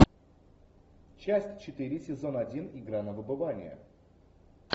часть четыре сезон один игра на выбывание